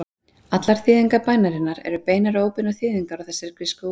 Allar þýðingar bænarinnar eru beinar eða óbeinar þýðingar á þessari grísku útgáfu.